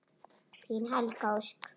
Þín Helga Ósk.